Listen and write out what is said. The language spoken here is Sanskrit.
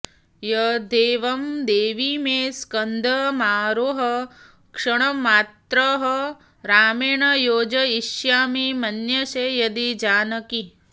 यद्येवं देवि मे स्कन्धमारोह क्षणमात्रतः रामेण योजयिष्यामि मन्यसे यदि जानकि